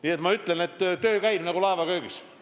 Nii et ma ütlen, töö käib nagu laevaköögis.